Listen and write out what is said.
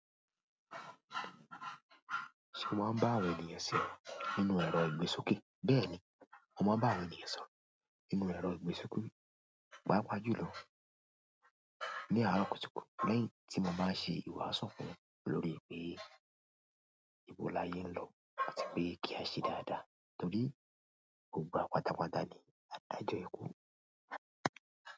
Ṣé o máa ń bá àwọn ènìyàn sọ̀rọ̀ nínú ẹ̀rọ ìgbésókè? Bẹ́ẹ̀ni, mo máa ń àwọn ènìyàn sọ̀rọ̀ nínú ẹ̀rọ ìgbésókè. Pàápàá jùlọ ní àárọ̀ kùtùkùtù lẹ́yìn tí mo bá ṣe ìwàásù fún un lórí pé ìbò la yẹn ń lọ àti pé kí a ṣe dáadáa torí gbogbo wa pátápátá ni a dájọ́ ikú.